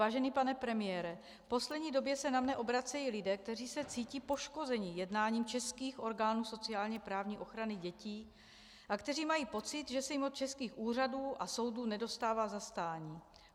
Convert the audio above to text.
Vážený pane premiére, v poslední době se na mě obracejí lidé, kteří se cítí poškozeni jednáním českých orgánů sociálně-právní ochrany dětí a kteří mají pocit, že se jim od českých úřadů a soudů nedostává zastání.